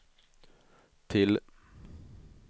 till